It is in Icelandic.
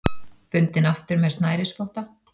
Bundinn aftur með snærisspotta.